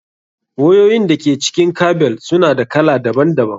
Wayoyin da ke cikin kabel su na da kala daban daban.